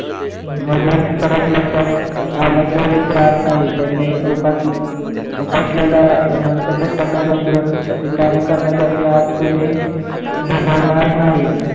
मधील फरक लक्षात आल्याखेरीज राहत नाही त्यांनी बस बसलेला अनंत कष्टाचा डोंगर ते कार्य करण्यासाठी आज कोणी झुंजणार नाही.